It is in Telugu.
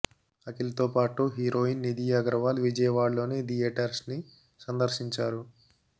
అఖిల్ తో పాటు హీరోయిన్ నిధి అగర్వాల్ విజయవాడలోని థియేటర్స్ ని సందర్శించారు